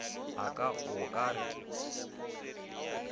a ka o ka re